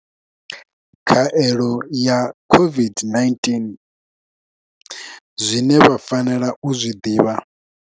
Khaelo ya COVID-19 zwine vha fanela u zwi ḓivha.